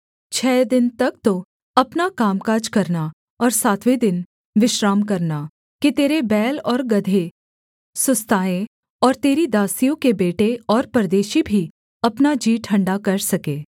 छः दिन तक तो अपना कामकाज करना और सातवें दिन विश्राम करना कि तेरे बैल और गदहे सुस्ताएँ और तेरी दासियों के बेटे और परदेशी भी अपना जी ठण्डा कर सके